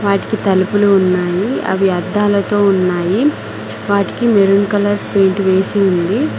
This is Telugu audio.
వాటికి తలుపులు ఉన్నాయి అవి అద్దాలతో ఉన్నాయి వాటికి మెరూన్ కలర్ పెయింట్ వేసి ఉంది.